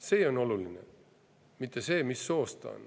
See on oluline, mitte see, mis soost ta on.